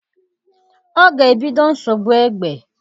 Ọ ga-ebido nsogbu egbe?